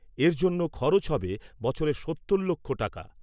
এর জন্য খরচ হবে বছরে সত্তর লক্ষ টাকা।